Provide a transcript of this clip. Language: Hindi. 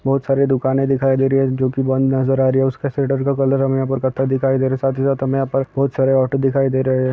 बहुत सारी दुकानें दिखाई ऍम नजर आ रहा उसका ऍम यहाँ पर इकट्ठा दिखाई दे रहा हूँ। यहाँ पर बहुत सारे ऑटो दिखाई दे रहे हैं। बहुत सारे--